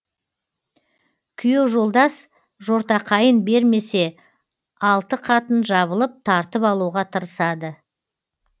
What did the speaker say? күйеу жолдас жортақайын бермесе алты қатын жабылып тартып алуға тырысады